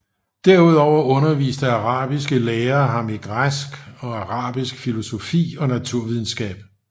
Derudover underviste arabiske lærere ham i græsk og arabisk filosofi og naturvidenskab